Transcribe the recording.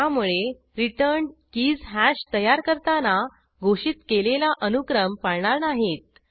त्यामुळे returned keys hash तयार करताना घोषित केलेला अनुक्रम पाळणार नाहीत